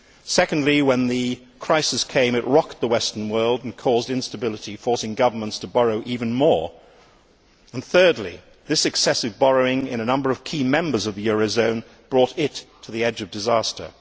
Secondly, when the crisis came, it rocked the Western world and caused instability, forcing governments to borrow even more, and thirdly, this excessive borrowing in a number of key members of the euro area brought it to the edge of disaster.